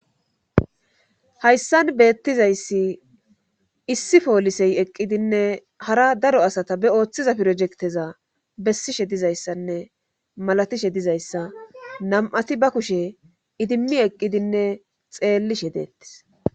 Hayssan beettizayssi issi poolisey eqqidinne hara daro asata be ooththiza pirojekteza bessishe dizayssanne malatishe dizayssa nam'ati ba kushe idimmi eqqidinne xeellishe deettis.